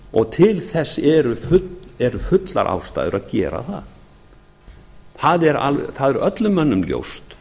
og til þess eru fullar ástæður að gera það það er öllum mönnum ljóst